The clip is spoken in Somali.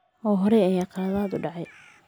Oo hore ayaa khaladaad u dhacay.